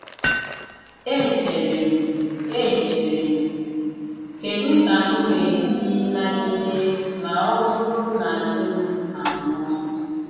Echere m, Echere m, ‘ Kedu ka m ga-esi nagide ma ọ bụrụ na di m anwụọ?